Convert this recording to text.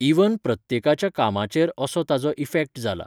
Even प्रत्येकाच्या कामाचेर असो ताजो इफॅक्ट जाला.